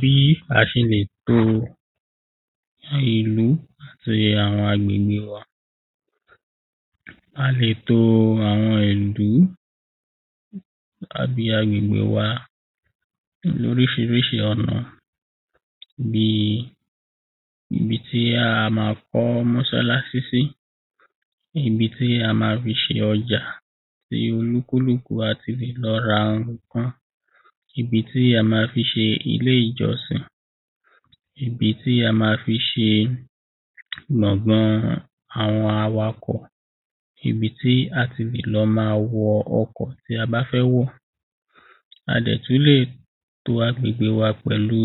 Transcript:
bí a ṣe lè to ìlú àbí àwọn agbègbè wa a lè to àwọn ìlú tàbí agbègbè wa lóríṣiriṣi ọ̀nà bíi ibi tí a má kọ́ máṣáláṣí si ibi tí a má fi ṣe ọjà, tí olúkúlùkù wa ti lè lọ ra ǹkan, ibi tí a ma fi ṣe ilé-ìjọsìn ibi tí a ma fi ṣe gbọ̀gán àwọn awakọ̀ ibi tí a ti lè máa wọ ọkọ̀ tí a fẹ́ wọ̀. a dẹ̀ tú lè to agbègbè wa pẹ̀lú